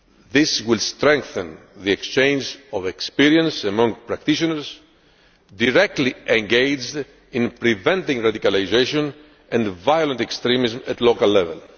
This will strengthen the exchange of experience among practitioners directly engaged in preventing radicalisation and violent extremism at local level.